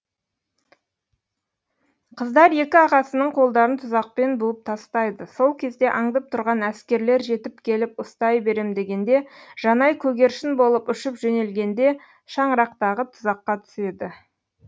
қыздар екі ағасының қолдарын тұзақпен буып тастайды сол кезде аңдып тұрған әскерлер жетіп келіп ұстай берем дегенде жанай көгершін болып ұшып жөнелгенде шаңырақтағы тұзаққа түседі